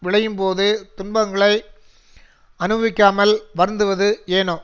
விளையும்போது துன்பங்களை அனுபவிக்காமல் வருந்துவது ஏனோ